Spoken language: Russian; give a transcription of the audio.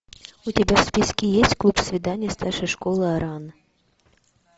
у тебя в списке есть клуб свиданий старшей школы оран